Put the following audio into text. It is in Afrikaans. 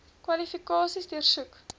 kwalifikasies deursoek